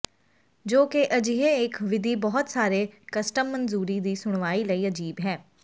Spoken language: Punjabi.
ਜੋ ਕਿ ਅਜਿਹੇ ਇੱਕ ਵਿਧੀ ਬਹੁਤ ਸਾਰੇ ਕਸਟਮ ਮਨਜ਼ੂਰੀ ਦੀ ਸੁਣਵਾਈ ਲਈ ਅਜੀਬ ਹੈ